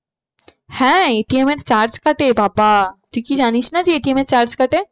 হ্যাঁ ATM এর charge কাটে বাবা তুই কি জানিস না ATM এর charge কাটে